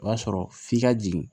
O y'a sɔrɔ f'i ka jigin